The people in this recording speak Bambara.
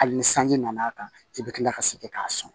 Hali ni sanji nana kan i bɛ kila ka segin k'a sɔn